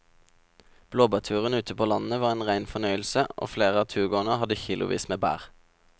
Blåbærturen ute på landet var en rein fornøyelse og flere av turgåerene hadde kilosvis med bær.